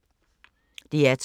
DR2